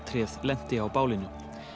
tréð lenti á bálinu